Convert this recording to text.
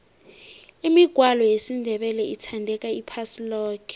imigwalo yesindebele ithandeka iphasi loke